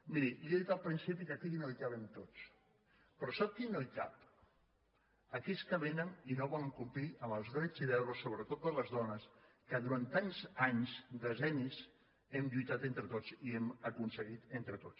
miri li he dit al principi que aquí no hi cabem tots però sap qui no hi cap aquells que vénen i no volen complir amb els drets i deures sobretot de les dones que durant tants anys decennis hem lluitat entre tots i hem aconseguit entre tots